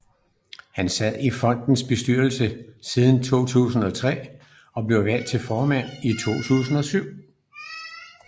Han sad i fondens bestyrelse siden 2003 og blev valgt til formand i 2007